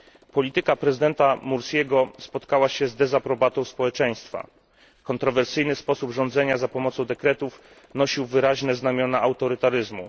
Polityka prezydenta Mursiego spotkała się z dezaprobatą społeczeństwa. Kontrowersyjny sposób rządzenia za pomocą dekretów nosił wyraźne znamiona autorytaryzmu.